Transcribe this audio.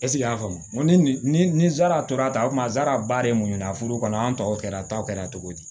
a y'a faamu ni zarata ko mazara ba de ye mun ɲun a furu kɔnɔ an tɔw kɛra ta kɛra cogo di